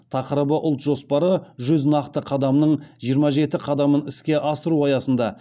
тақырыбы ұлт жоспары жүз нақты қадамның жиырма жеті қадамын іске асыру аясында